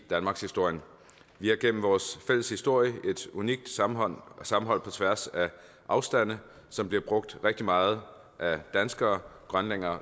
i danmarkshistorien vi har igennem vores fælles historie et unikt sammenhold sammenhold på tværs af afstande som bliver brugt rigtig meget af danskere grønlændere og